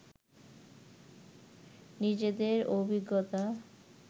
নিজেদের অভিজ্ঞতা